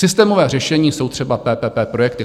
Systémové řešení jsou třeba PPP projekty.